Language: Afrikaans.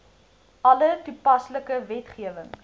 alle toepaslike wetgewing